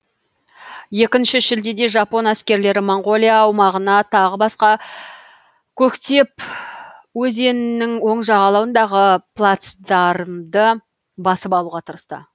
екінші шілдеде жапон әскерлері моңғолия аумағына тағы баса көктеп өзеннің оң жағалауындағы плацдармды басып алуға тырысты